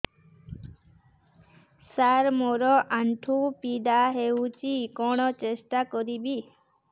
ସାର ମୋର ଆଣ୍ଠୁ ପୀଡା ହଉଚି କଣ ଟେଷ୍ଟ କରିବି